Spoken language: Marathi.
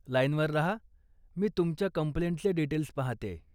लाईनवर राहा, मी तुमच्या कम्प्लेंटचे डीटेल्स पाहतेय.